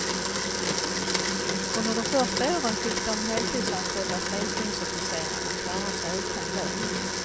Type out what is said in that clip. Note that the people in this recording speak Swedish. Under de första åren fick de heltidsanställda frälsningsofficerarna klara sig utan lön.